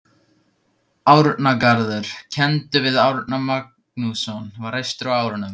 Árnagarður, kenndur við Árna Magnússon, var reistur á árunum